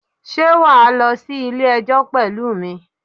Sé wà á lọ sí Ilé ẹjọ́ pẹ̀lú mi?